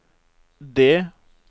D